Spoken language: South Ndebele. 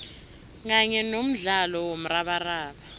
kanye nomdlalo womrabaraba